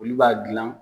Olu b'a gilan